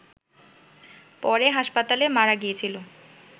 পরে হাসপাতালে মারা গিয়েছিল